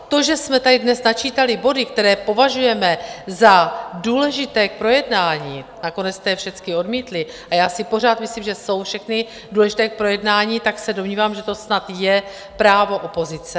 To, že jsme tady dnes načítali body, které považujeme za důležité k projednání - nakonec jste je všechny odmítli, a já si pořád myslím, že jsou všechny důležité k projednání, tak se domnívám, že to snad je právo opozice.